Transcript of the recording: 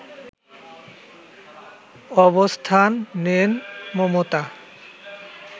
অবস্থান নেন মমতা